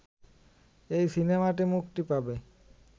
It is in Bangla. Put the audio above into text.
এই সিনেমাটি মুক্তি পাবে